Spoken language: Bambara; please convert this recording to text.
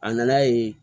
A nana ye